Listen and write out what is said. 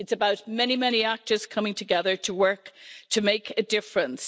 It's about many, many actors coming together to work to make a difference.